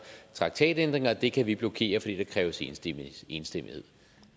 traktatændringer det kan vi blokere fordi der kræves enstemmighed enstemmighed